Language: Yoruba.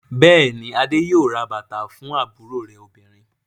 Bẹ́ẹ̀ ni, Adé yóò ra bàtà fún àbúrò rẹ̀ obìnrin.